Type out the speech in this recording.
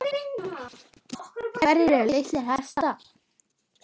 Hverjir eru litir hesta?